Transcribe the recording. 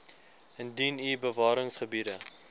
indien u bewaringsgebiede